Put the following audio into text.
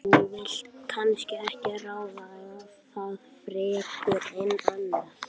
Þú vilt kannski ekki ræða það frekar en annað?